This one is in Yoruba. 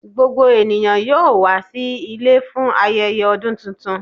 Gbogbo ènìyàn yóò wà sí ilẹ̀ fún ayẹyẹ ọ̀dún tuntun.